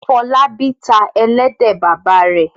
Fọlábí tá ẹlẹ́dẹ̀ bàbá rẹ̀.